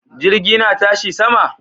Jirgi na tashi sama?